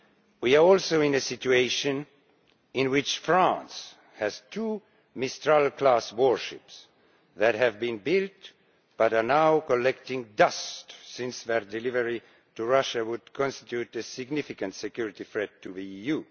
We are also in a situation in which France has two Mistral class warships that have been built but are now collecting dust as their delivery to Russia would constitute a significant security threat to the EU.